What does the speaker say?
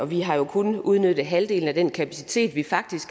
vi har jo kun udnyttet halvdelen af den kapacitet vi faktisk